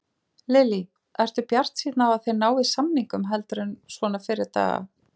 Lillý: Ertu bjartsýnn á að þið náið samningum heldur en svona fyrri daga?